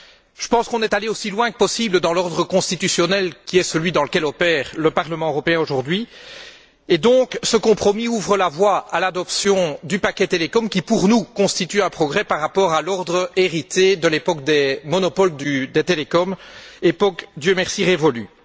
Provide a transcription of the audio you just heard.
Je pense qu'on est allé aussi loin que possible dans l'ordre constitutionnel qui est celui dans lequel opère le Parlement européen aujourd'hui. Le compromis ouvre donc la voie à l'adoption du paquet télécoms qui, pour nous, constitue un progrès par rapport à l'ordre hérité de l'époque des monopoles des télécoms, époque, Dieu merci, révolue.